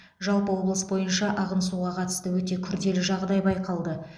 жалпы облыс бойынша ағын суға қатысты өте күрделі жағдай байқалды